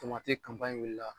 Tomati wulila.